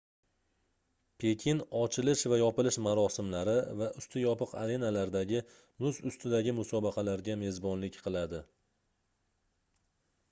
pekin ochilish va yopilish marosimlari va usti yopiq arenalardagi muz ustidagi musobaqalarga mezbonlik qiladi